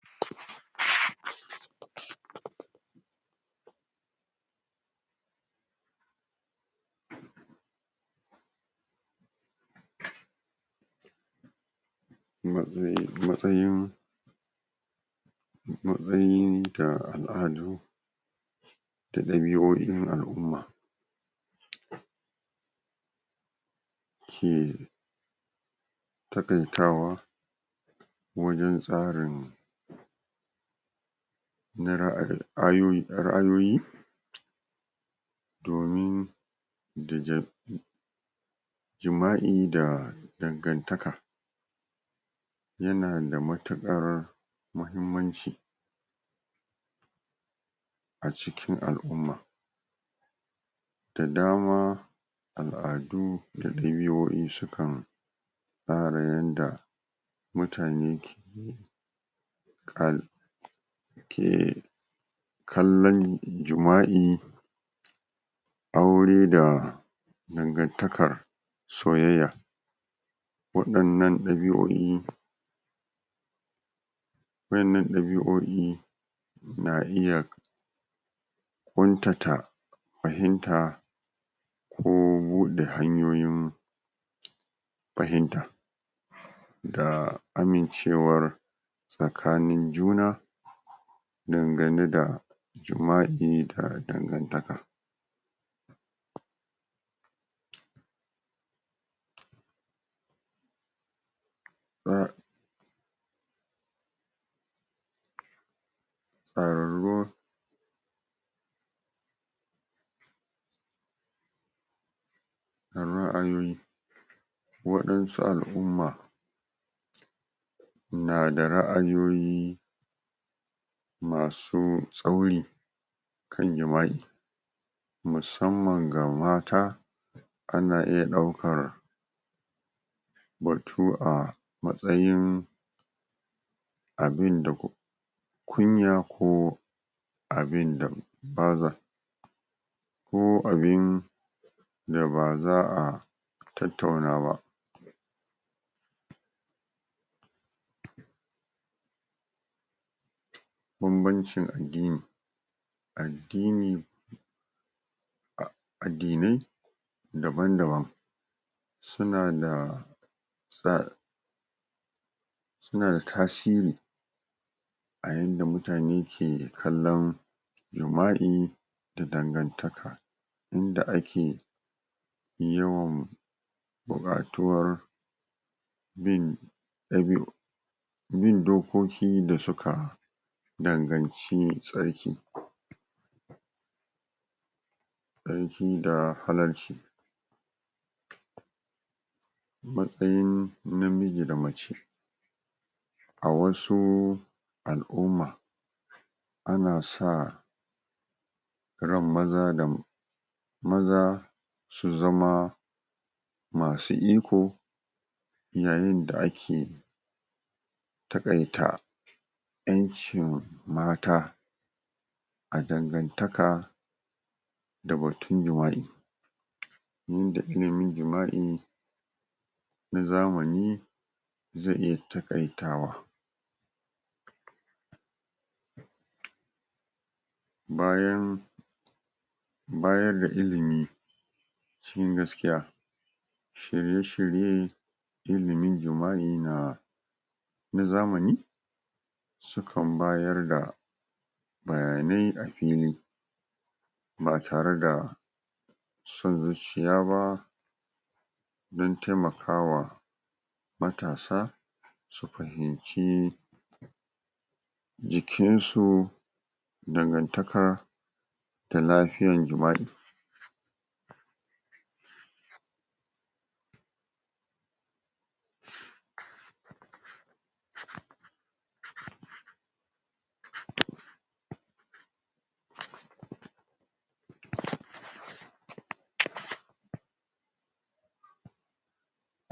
um matsa matsayin matsayin da al'adu da ɗabi'o'in al'umma um ke taƙaitawa wajen tsarin na ra'a.. ayoyi.. ra'ayoyi domin da jima' jima'i da dangantaka yana da matukar muhimmanci a cikin al'umma da dama al'adu da ɗabi'o'i sukan tsara yanda mutane ka ke kallon jima'i aure da dangantakar soyayya waɗannan ɗabi'o'i wa innan ɗabi'o'i na iya ƙuntata fahimta ko buɗe hanyoyin um fahimta da amincewar tsakanin juna dangane da jima'i a dangantaka da um ro ra'ayoyi waɗansu al'umma na da ra'ayoyi masu tsauri kan jima'i musamman ga mata ana iya ɗaukar batu a matsayin abinda kun kunya ko abinda baza ko abin da baza a tattauna ba banbancin addini addini a addinai daban daban suna da tsa suna da tasiri a yanda mutane ke ke kallon jima'i da dangantaka yanda ake yawan buƙatuwar bin ɗabi'u bin dokoki da suka danganci tsarki tsarki da halarci matsayin namiji da mace a wasu al'umma ana sa ran maza da mat maza su zama masu iko yayinda ake takaita ƴancin mata a dangantaka da batun jima'i duk da ilimin jima'in na zamani zai iya taƙaitawa bayan baya ga ilimi se gaskiya shirye shirye ilimin jima'i na na zamani sukan bayar da bayanai a fili ba tare da son zuciya ba don temakawa matasa su fahimci jikinsu dangantakar da lafiyan jima'i